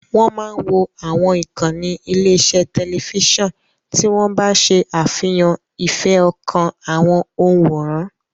Wọ́n máa wo àwọn ìkànnì ilé-iṣẹ́ tẹlifíṣàn tí wọ́n bá ṣe àfihàn ìfẹ́ ọkàn àwọn òǹwòran.